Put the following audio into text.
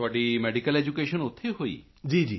ਤੁਹਾਡੀ medical education ਉੱਥੇ ਹੋਈ